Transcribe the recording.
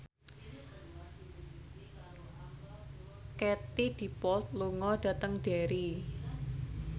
Katie Dippold lunga dhateng Derry